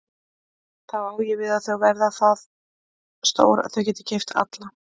Þá á ég við að þau verða það stór að þau geti keypt alla?